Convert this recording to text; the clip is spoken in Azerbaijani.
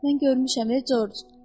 Mən görmüşəm, George.